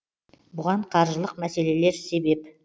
бұған қаржылық мәселелер себеп